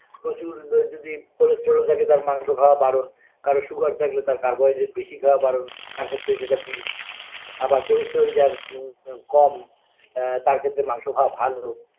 প্রচুর আ যদি cholesterol থাকে তার মাংস খাওয়া বারণ কারোর sugar থাকলে তার carbohydrate বেশি খাওয়া বারণ তার ক্ষেত্রে সেটা বিষ আবার cholesterol ম ম কম আ তার ক্ষেত্রে মাংস খাওয়া ভালো